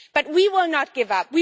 We will not give up